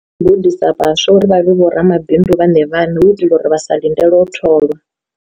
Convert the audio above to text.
Gudisa vhaswa uri vha vhe vho ramabindu vhane vhane hu itela uri vha sa lindele u tholwa.